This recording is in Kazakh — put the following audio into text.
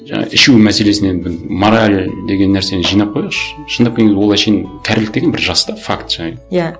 жаңа ішу мәселесіне мораль деген нәрсені жинап қояйықшы шындап келгенде ол әншейін кәрілік деген бір жас та факт және иә